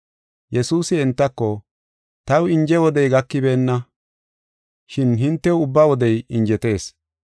Yesuusi entako, “Taw inje wodey gakibeenna, shin hintew ubba wodey injetees.